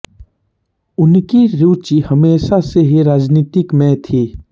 उन्की रुचि हमेशा से ही राजनिति में थी